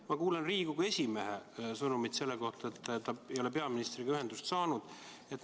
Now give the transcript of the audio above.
Ma kuulsin Riigikogu esimehe sõnumit, et ta ei ole peaministriga ühendust saanud.